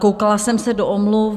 Koukala jsem se do omluv.